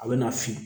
A bɛ na fin